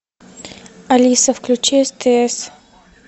алиса включи стс